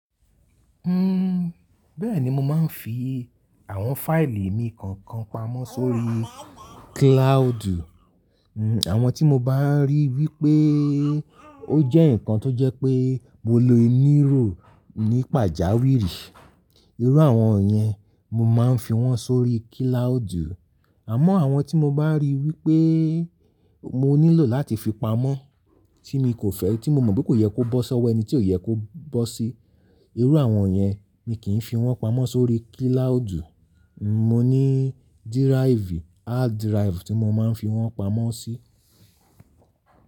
Uhm, bẹ́ẹ̀ni mo máa ń fi àwọn fáìlì mi kọ̀ọ̀kan pamọ́ sórí cloud. Uhm, àwọn tí mo bá ríi wípé ó jẹ́ ǹkan tó jẹ́ pé mo lò inírò ní pàjáwìrì. Irú àwọn yẹn, mo máa ń fi wọ́n sórí cloud. Àmọ́ àwọn tí mo bá ríi wípé mo nílò láti fi pamọ́, tí mi kò fẹ́, tí mo mọ̀ pé kò yẹ kó bọ́ sọ́wọ́ ẹni tí ò yẹ kó bọ́ sí, irú àwọn yẹn mi kì í fi wọ́n pamọ́ sórí cloud. N, mo ní díráìfù, hád díráìfù tí mo máa ń fi wọ́n pamọ́ sí.